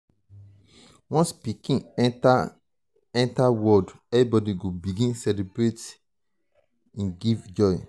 once pikin enta enta world everybodi go begin celebrate e dey give joy.